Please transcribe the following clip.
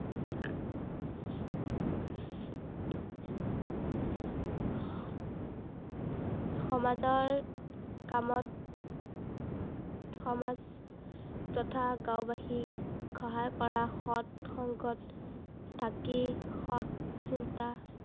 সামজৰ কামত সমাজ তথা গাঁওবাসীক, সহায় কৰা সত সংগত, থাকি সত চিন্তা